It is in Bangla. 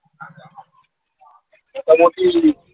মোটামোটি